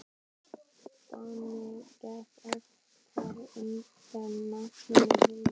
Danni gekk oftar undir nafninu Hinn.